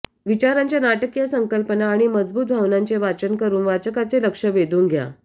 विचारांच्या नाटकीय संकल्पना आणि मजबूत भावनांचे वाचन करून वाचकाचे लक्ष वेधून घ्या